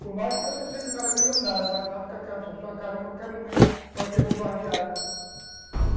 Por mais que você seja um cara milionário, mas sabe que a sua casa a qualquer momento pode ser bombardeada.